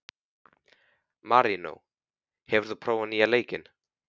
Marínó, hefur þú prófað nýja leikinn?